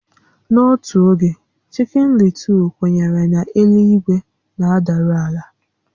N'otu oge, chikin Lịtụl kwenyere na elu-ígwé na-adaru àlà